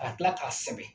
Ka tila k'a sɛbɛn